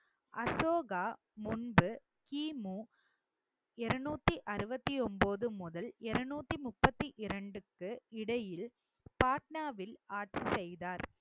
அசோகா முன்பு கி. மு. இருநூத்தி அறுவத்தி ஒன்பது முதல் இருநூத்தி முப்பத்தி இரண்டுக்கு இடையில் பாட்னாவில் ஆட்சி செய்தார்